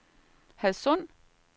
Hadsund